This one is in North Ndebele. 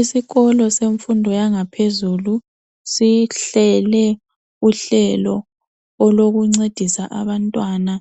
Isikolo semfundo yangaphezulu sihlele uhlelo olokuncesa abantwana